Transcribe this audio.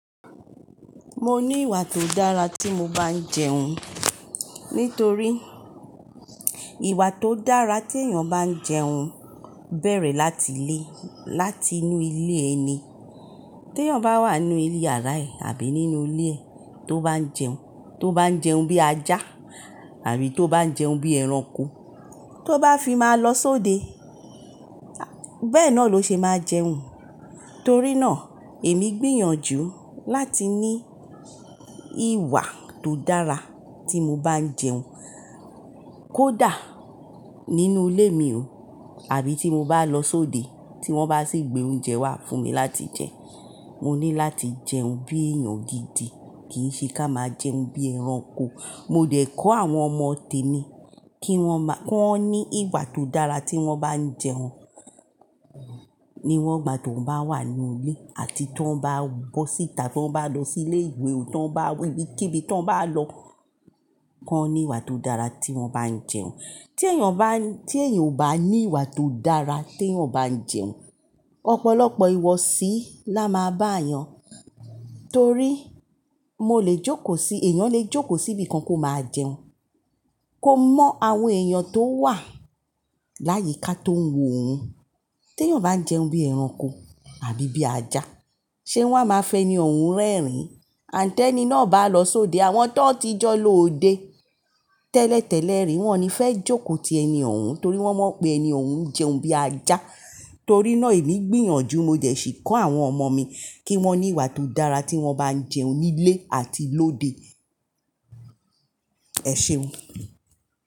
Mo ní ìwà tó dára tí mo bá ń jẹun. Nítorí ìwà tó dára tí èèyàn bá ń jẹun bẹ̀rẹ̀ láti lé, láti inú ilé ẹni. Tí èèyàn bá wà nínú ilé yàrá ẹ̀ àbí nínú ilé ẹ̀ tó bá ń jẹun, tó bá ń jẹun bí ajá àbí tó bá ń jẹun bí ẹranko tó bá fi máa lọ sóde. Bẹ́ẹ̀ náà ló ṣe máa jẹun. Torí náà èmi gbìyànjú láti ní ìwà tó dára tí mo bá ń jẹun. Kódà nínú ilé mi òun àbí tí mo bá lọ sóde tí wọ́n bá sì gbé oúnjẹ wá fún mi láti jẹ. Mo ní láti jẹun bí èèyàn gidi, kì í ṣe ká máa jẹun bí ẹranko. Mo dẹ̀ kọ́ àwọn ọmọ tèmi kí wọ́n má, kó ní ìwà tó dára tí wọ́n bá ń jẹun. Níwọ́n gbà tí wọ́n bá wà nílé àti tí wọ́n bá bọ́ síta, tí wọ́n bá lọ sí ilé ìwé òún, tí wọ́n bá wí bí ké bí tí wọ́n bá lọ kó ní ìwà tó dára tí wọ́n bá ń jẹun. Tí èèyàn bá, tí èèyàn ò bá ní ìwà tó dára tí èèyàn bá ń jẹun, ọ̀pọ̀lọpọ̀ ìwọsí la máa bá èèyàn. Torí mo lè jókò sí, èèyàn lè jókò sí ibìkan kó máa jẹun. Kó mọ́ àwọn èèyàn tó wà láyíká tó ń wo òhun. Tí èèyàn bá ń jẹun bí ẹranko àbí bí ajá, ṣe wọ́n á máa fi ẹni òhun rẹ́rìn? Àńtẹ́ ni náà bá lọ sóde, àwọn tó ti jọ́ lọ òde tẹ́lẹ̀tẹ́lẹ̀ rí wọ́n ni fẹ́ jókò ti ẹni ọ̀hun torí wọ́n mọ̀ pé ẹni ọ̀hun ń jẹun bí ajá. Torí náà èmi gbìyànjú mo jẹ̀ sì kọ́ àwọn ọmọ mi kí wọ́n ní ìwà tó dára tí wọ́n bá ń jẹun nílé àti lóde. Ẹ̀ṣeun.